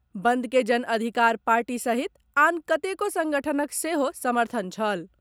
बंद के जनअधिकार पार्टी सहित आन कतेको संगठनक सेहो समर्थन छल।